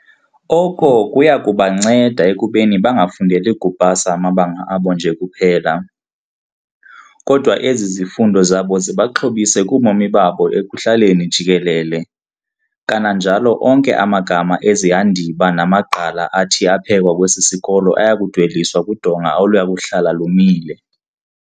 Oko kuyakubanceda ekubeni bangafundeli kupasa amabanga abo nje kuphela, kodwa ezi zifundo zabo zibaxhobise kubomi babo ekuhlaleni jikelele. Kananjalo onke amagama ezihandiba namagqala athi aphekwa kwesi sikolo ayakudweliswa kudonga oluyakuhlala lumile.